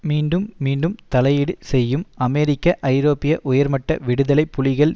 மீண்டும் மீண்டும் தலையீடு செய்யும் அமெரிக்க ஐரோப்பிய உயர்மட்ட விடுதலை புலிகள்